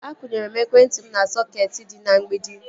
Akwụnyere m ekwentị m na sọketi dị na mgbidi